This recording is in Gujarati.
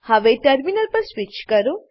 હવે ટર્મિનલ પર સ્વીચ કરો